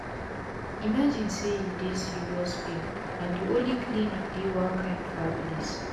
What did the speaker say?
imagine say u dey serious pain and d onli clinic dey one kain far place